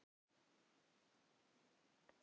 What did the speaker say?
Sebastian, ekki fórstu með þeim?